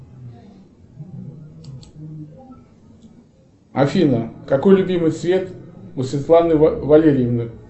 афина какой любимый цвет у светланы валерьевны